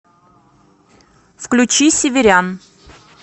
включи северян